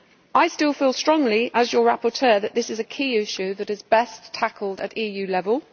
I still feel strongly, as your rapporteur, that this is a key issue that is best tackled at EU level.